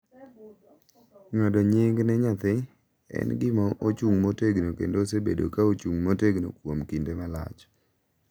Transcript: ng’ado nying’ ne nyathi en gima ochung’ motegno kendo osebedo ka ochung’ motegno kuom kinde malach.